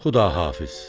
Xudahafiz.